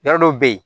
Yɔrɔ dɔw bɛ ye